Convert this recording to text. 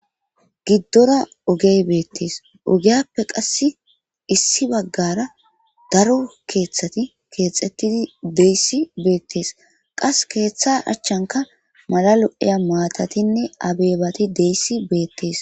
Gidora ogey betese ogiyape qasi issi bagara daro kethati Kexetidi dizaysa betese qase ketha achankka mala lo'iya matatinne abebati dizaysa betese